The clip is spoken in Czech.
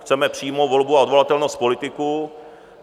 Chceme přímou volbu a odvolatelnost politiků.